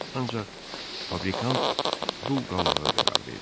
Ancaq fabrikant dul qalmağa qərar verdi.